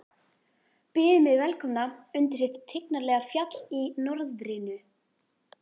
Byðu mig velkomna undir sitt tignarlega fjall í norðrinu.